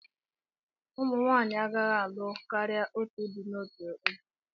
Ụmụ nwanyị agaghị alụ karịa otu di n'otu oge.